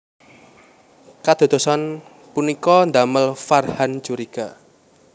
Kadadosan punika ndamel Farhan curiga